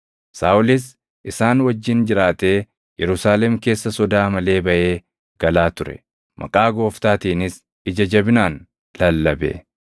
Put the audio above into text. Saaʼolis isaan wajjin jiraatee Yerusaalem keessa sodaa malee baʼee galaa ture; maqaa Gooftaatiinis ija jabinaan lallabe.